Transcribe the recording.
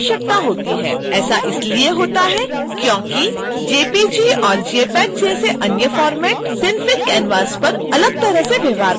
ऐसा इसलिए होता है क्योंकि jpg/jpeg जैसे अन्य फ़ॉर्मैट synfig canvas पर अलग तरह से व्यवहार करते हैं